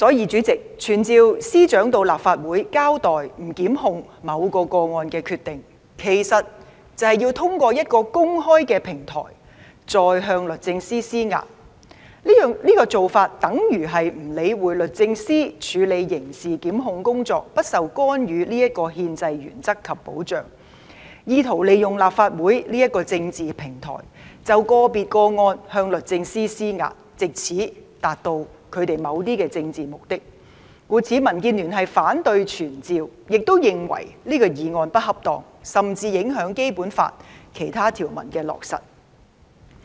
主席，傳召司長到立法會交代不檢控某個個案的決定，其實便是透過公開的平台再向律政司施壓，這種做法等於不理會律政司處理刑事檢控工作有不受干預的憲制原則及保障，意圖利用立法會這個政治平台，就個別個案向律政司施壓，藉此達到他們某些政治目的，故此民建聯反對傳召，亦認為這項議案不恰當，甚至影響落實《基本法》其他條文。